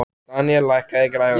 Daníel, lækkaðu í græjunum.